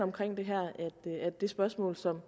at det spørgsmål som